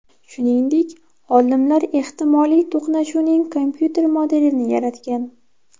shuningdek, olimlar ehtimoly to‘qnashuvning kompyuter modelini yaratgan.